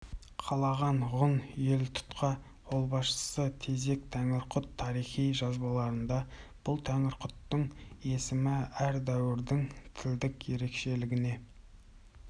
қалаған ғұн елтұтқа қолбасшысы тезек тәңірқұт тарихи жазбаларда бұл тәңірқұттың есімі әр дәуірдің тілдік ерекшелігіне